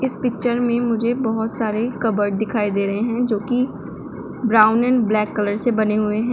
इस पिक्चर में मुझे बहुत सारे कबर्ड दिखाई दे रहे हैं जो कि ब्राउन एंड ब्लैक कलर से बने हुए हैं।